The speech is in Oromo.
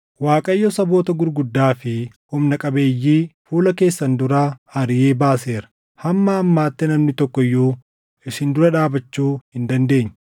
“ Waaqayyo saboota gurguddaa fi humna qabeeyyii fuula keessan duraa ariʼee baaseera; hamma ammaatti namni tokko iyyuu isin dura dhaabachuu hin dandeenye.